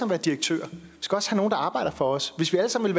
være direktører vi skal også have nogen der arbejder for os hvis vi alle sammen